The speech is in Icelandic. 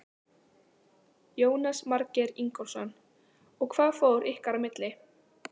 Jónas Margeir Ingólfsson: Og hvað fór ykkar á milli?